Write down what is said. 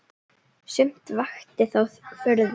Sumt vakti þó furðu.